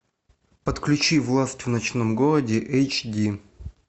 подключи власть в ночном городе эйч ди